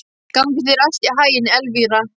Gangi þér allt í haginn, Elvira.